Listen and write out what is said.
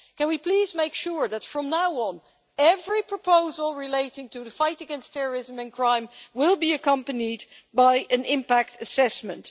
Can we please make sure that from now on, every proposal relating to the fight against terrorism and crime will be accompanied by an impact assessment?